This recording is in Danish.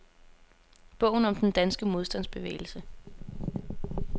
Bogen om den danske modstandsbevægelse.